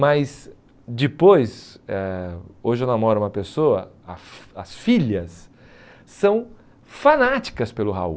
Mas depois, eh hoje eu namoro uma pessoa, a as filhas são fanáticas pelo Raul.